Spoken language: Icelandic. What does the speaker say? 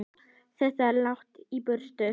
Þetta er langt í burtu.